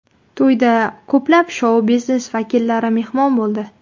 To‘yda ko‘plab shou-biznes vakillari mehmon bo‘ldi.